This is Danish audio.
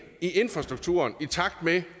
infrastrukturen i takt med